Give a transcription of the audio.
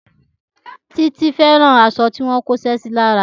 Títí fẹ́ràn aṣọ tí wọ́n kóṣẹ́ sí lára